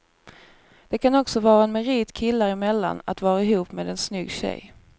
Det kan också vara en merit killar emellan att vara ihop med en snygg tjej.